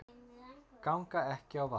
Ganga ekki á vatni